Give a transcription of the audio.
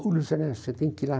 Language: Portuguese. Luiz Ernesto, você tem que ir lá.